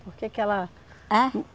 Por que que ela... Ãh?